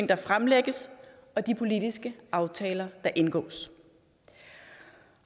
der fremlægges og de politiske aftaler der indgås